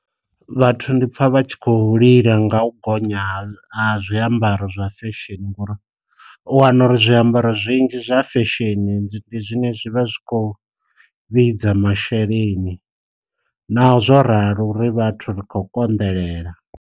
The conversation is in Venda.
Vhathu ndi pfha vha tshi kho lila nga u gonya ha zwiambaro zwa fesheni ngori, u wana uri zwiambaro zwinzhi zwa fa fesheni ndi zwine zwivha zwi kho vhidza masheleni, naho zwo ralo ri vhathu ri kho konḓelela.